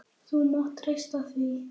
Þú mátt treysta því.